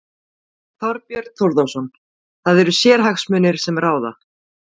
Þorbjörn Þórðarson: Það eru sérhagsmunir sem ráða?